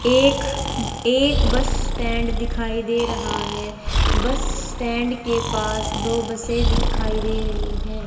एक एक bus stand दिखाई दे रहा है बस स्टैंड के पास दो बसे दिखाई दे रही है।